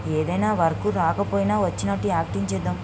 ఏదైనా వర్క్ రాకపోయినా వచ్చినట్టు యాక్టింగ్ చేద్దాం --